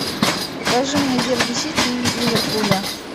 покажи мне дерби сити и ливерпуля